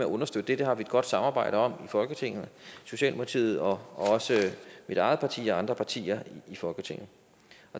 understøtte det har vi et godt samarbejde om i folketinget socialdemokratiet og også mit eget parti og andre partier i folketinget